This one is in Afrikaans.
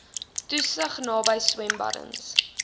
toesig naby swembaddens